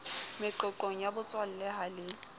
meqoqong ya botswalle ha le